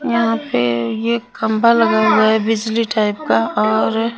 यहां पे ये कंपा लगा हुआ है बिजली टाइप का और --